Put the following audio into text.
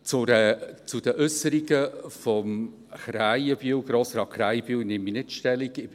Zu den Äusserungen von Grossrat Krähenbühl nehme ich nicht Stellung.